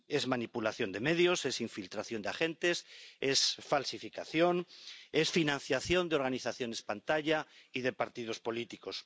Es manipulación de medios, es infiltración de agentes, es falsificación, es financiación de organizaciones pantalla y de partidos políticos.